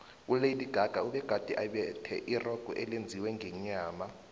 ulady gaga ubegade embethe irogo elenziwe ngenyama